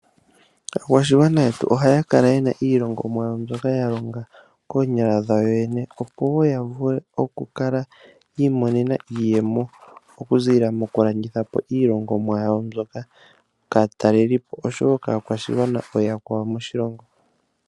Aakwashigwana yetu ohaya kala yena iilongomwa yawo mbyoka ya longa koonyala dhawo yo yene. Opo woo yavule oku kala yi imonena iiyemo oku ziilila moku landitha po iilongomwa yawo mbyoka kaatalelipo osho woo kaakwashigwana ooyakwawo moshilongo.